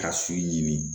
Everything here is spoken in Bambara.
Ka so ɲini